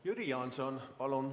Jüri Jaanson, palun!